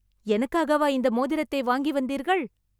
எனக்காகவா இந்த மோதிரத்தை வாங்கி வந்தீர்கள்!